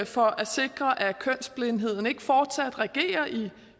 for at sikre at kønsblindheden ikke fortsat regerer i